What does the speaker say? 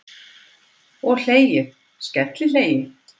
Og hlegið, skellihlegið!